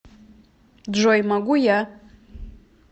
джой могу я